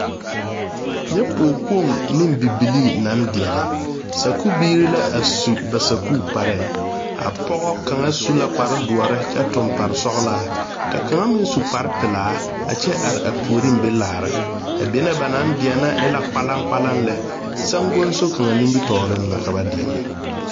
Nyɛ pɔgekpoŋ ne bibilii naŋ deɛnɛ sakubiiri la a su ba sakukparre a pɔge kaŋa su la kpaere doɔre kyɛ tuŋ paresɔglaa ka kaŋ meŋ su kparepelaa a kyɛ are a puoriŋ be laara benee ba naŋ deɛnɛ e la kpalaŋkpalaŋ lɛ saŋguso kaŋa nomitɔɔriŋ la ka ba deɛnɛ.